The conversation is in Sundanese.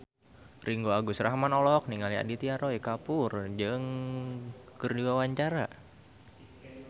Ringgo Agus Rahman olohok ningali Aditya Roy Kapoor keur diwawancara